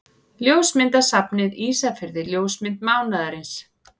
Ljósmyndasafnið Ísafirði Ljósmynd mánaðarins.